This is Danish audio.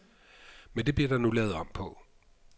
Men det bliver der nu lavet om på.